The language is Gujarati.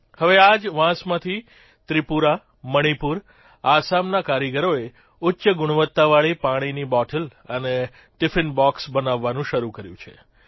હવે આ જ વાંસમાંથી ત્રિપુરા મણિપુર આસામના કારીગરોએ ઉચ્ચ ગુણવત્તાવાળી પાણીની બોટલ અને ટિફિનબોક્ષ બનાવવાનું શરૂ કર્યું છે